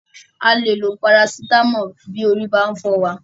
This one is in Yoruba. A lè lo Parasitamọ́ọ̀ bí orí bá ń fọ́ wa.